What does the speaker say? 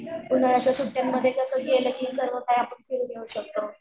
उन्हाळ्याच्या सुट्ट्यांमध्ये कसं गेलं की सर्व काही आपण फिरून येऊ शकतो.